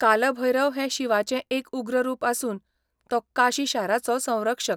काल भैरव हें शिवाचें एक उग्र रूप आसून तो काशी शाराचो संरक्षक.